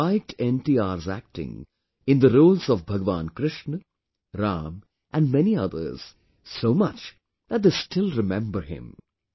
People liked NTR's acting in the roles of Bhagwan Krishna, Ram and many others, so much that they still remember him